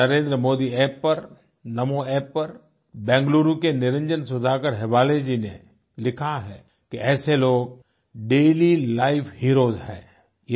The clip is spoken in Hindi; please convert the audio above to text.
मुझे नरेंद्रमोदी App पर नामो App पर बेंगलुरु के निरंजन सुधाकर हेब्बाले जी ने लिखा है कि ऐसे लोग डेलीलाइफ हीरोज हैं